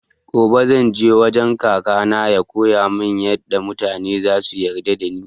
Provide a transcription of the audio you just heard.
Gobe zan je wajen kaka na ya koyamun yaɗa mutane zasu yarda da ni